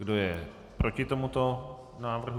Kdo je proti tomuto návrhu?